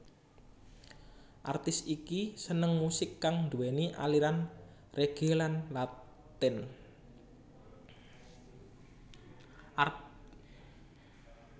Artis iki seneng musik kang nduwéni aliran reggae lan latin